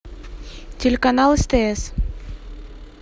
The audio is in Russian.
телеканал стс